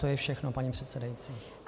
To je všechno, paní předsedající.